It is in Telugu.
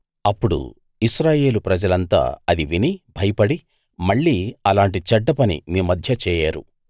అప్పుడు ఇశ్రాయేలు ప్రజలంతా అది విని భయపడి మళ్ళీ అలాంటి చెడ్డ పని మీ మధ్య చేయరు